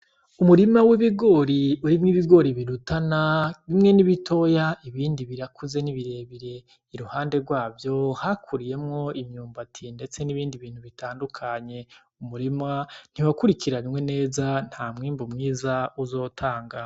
Umurima w'ibigori urimwo ibigori birutana bimwe nibitoya ibindi birakuze ni bire bire iruhande gwavyo hakuriyemwo imyumbati ndeste n' ibindi bintu bitandukanye umurima ntiwakurikiranwe neza ntamwimbu mwiza uzotanga.